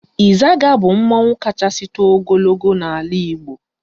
Ịzaga bụ mmanwụ kachasị too ogologo n'ala Igbo